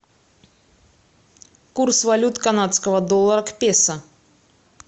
курс валют канадского доллара к песо